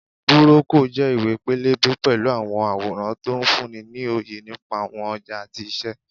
Búrókọ̀ jẹ́ ìwé-pélébé pẹ̀lú àwọn àwòrán tó ń fúnni ní òye nípa àwọn ọjà àti iṣẹ́